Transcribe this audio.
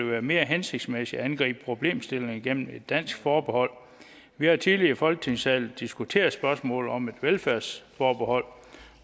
være mere hensigtsmæssigt at angribe problemstillingen gennem et dansk forbehold vi har tidligere i folketingssalen diskuteret spørgsmålet om et velfærdsforbehold